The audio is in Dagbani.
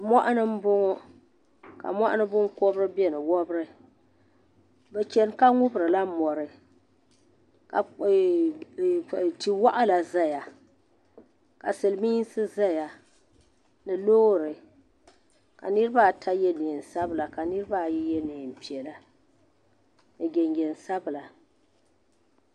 Muɣini mbɔŋɔ ka Muɣini binkɔbri bɛni wɔbri bi chɛni ka ŋubirila mori ka eaaa ti waɣila zaya ka siliminsi zaya ni loori ka niriba ata yiɛ nɛɛn sabila ka niriba ayi yiɛ nɛɛn piɛla ni jinjɛm sabila.